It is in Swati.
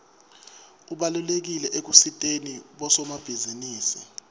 ubalulekile ekusiteni bosomabhizinisi